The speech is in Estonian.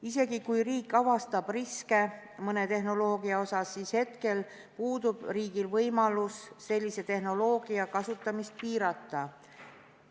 Isegi kui riik avastab mõne tehnoloogia osas riske, siis hetkel puudub riigil võimalus sellise tehnoloogia kasutamist piirata.